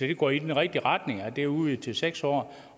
det går i den rigtige retning at det er udvidet til seks år